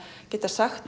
geta sagt